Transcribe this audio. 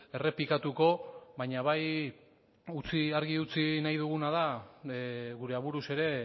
errepikatuko baina bai argi utzi nahi duguna da gure aburuz ere